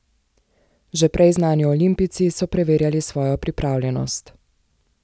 Že prej znani olimpijci so preverjali svojo pripravljenost.